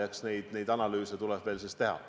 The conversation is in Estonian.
Eks neid analüüse tuleb veel teha.